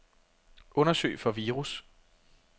Undersøg for virus.